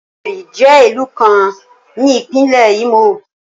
Owerri jẹ ilu kan ni Ipinle Imo